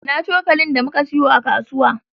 Ina cokalin da muka siyo a kasuwa?